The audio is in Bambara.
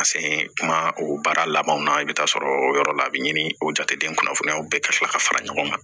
Ka se kuma o baara labanw na i bɛ taa sɔrɔ o yɔrɔ la a bɛ ɲini o jateden kunnafoniyaw bɛɛ ka tila ka fara ɲɔgɔn kan